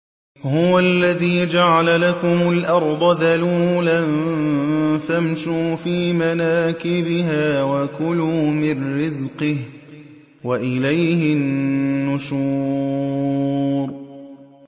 هُوَ الَّذِي جَعَلَ لَكُمُ الْأَرْضَ ذَلُولًا فَامْشُوا فِي مَنَاكِبِهَا وَكُلُوا مِن رِّزْقِهِ ۖ وَإِلَيْهِ النُّشُورُ